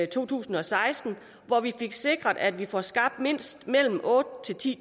to tusind og seksten hvor vi fik sikret at vi får skabt otte